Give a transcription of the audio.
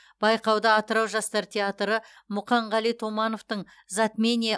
байқауда атырау жастар театры мұқанғали томановтың затмение